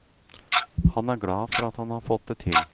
Han er glad for at han har fått det til.